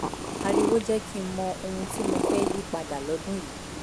ariwo jẹ́ kí n mọ ohun tí mo fẹ́ yí pa dà lọ́dún yìí